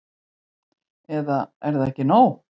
Eða er það ekki nóg?